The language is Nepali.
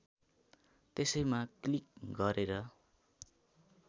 त्यसैमा क्लिक गरेर